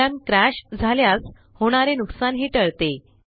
program crash झाल्यास होणारे नुकसानही टळते